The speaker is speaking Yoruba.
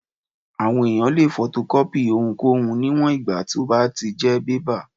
Àwọn èèyàn lè fotokọ́pì ohunkóhun níwòn ìgbà tó bá tí jẹ́ bébà